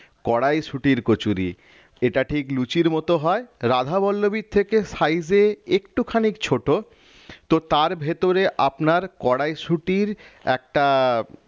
কড়াইশুঁটির কচুরি এটা ঠিক লুচির মত হয় রাধা বল্লবীর থেকে size এ একটুখানি ছোট তো তার ভেতরে আপনার কড়াইশুঁটির একটা আহ